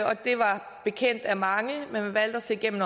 og det var bekendt af mange men man valgte at se igennem